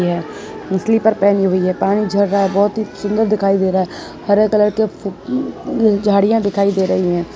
यह स्लीपर पहनी हुई है पानी झड़ रहा है बहोत ही सुंदर दिखाई दे रहा है हरे कलर के झाड़ियां दिखाई दे रही हैं।